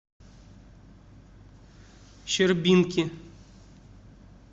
щербинки